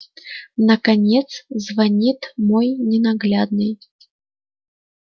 наконец звонит мой ненаглядный